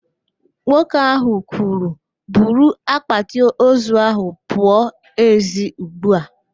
Nwoke ahụ kwuru, buru akpatị ozu ahụ pụọ ezi ugbu a!